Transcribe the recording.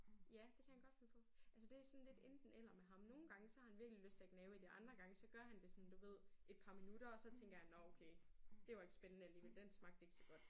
Ja det kan han godt finde på. Altså det sådan lidt enten eller med ham. Nogle gange så har han virkelig lyst til at gnave i det og andre gange så gør han det sådan du ved et par minutter og så tænker han nåh okay det var ikke spændende alligevel den smagte ikke så godt